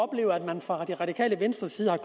opleve at man fra det radikale venstres side